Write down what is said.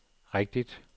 rigtigt